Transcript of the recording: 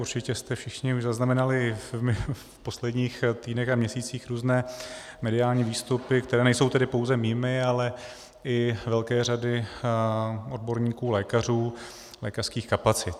Určitě jste všichni už zaznamenali v posledních týdnech a měsících různé mediální výstupy, které nejsou tedy pouze mými, ale i velké řady odborníků lékařů, lékařských kapacit.